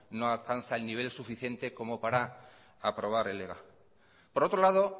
no alcanza el nivel suficiente como para aprobar el ega por otro lado